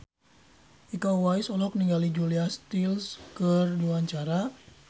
Iko Uwais olohok ningali Julia Stiles keur diwawancara